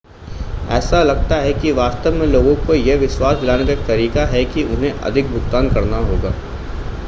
ऐसा लगता है कि वास्तव में लोगों को यह विश्वास दिलाने का एक तरीका है कि उन्हें अधिक भुगतान करना होगा